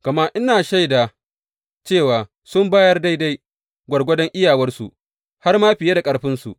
Gama ina shaida cewa sun bayar daidai gwargwadon iyawarsu, har ma fiye da ƙarfinsu.